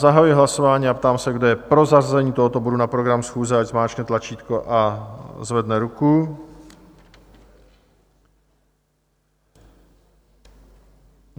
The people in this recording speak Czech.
Zahajuji hlasování a ptám se, kdo je pro zařazení tohoto bodu na program schůze, ať zmáčkne tlačítko a zvedne ruku.